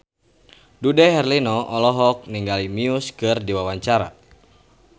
Dude Herlino olohok ningali Muse keur diwawancara